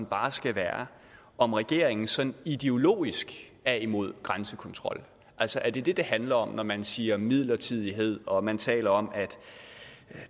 bare skal være om regeringen sådan ideologisk er imod grænsekontrol altså er det det det handler om når man siger midlertidighed og når man taler om at